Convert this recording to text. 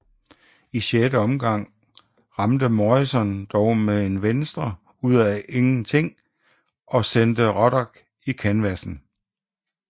I 6 omgang ramte Morrison dog med en venstre uf af intet og sendte Ruddock i kanvassen